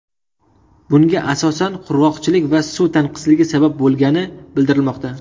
Bunga asosan qurg‘oqchilik va suv tanqisligi sabab bo‘lgani bildirilmoqda.